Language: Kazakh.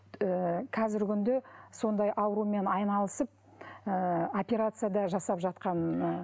ы қазіргі күнде сондай аурумен айналысып ы операция да жасап жатқан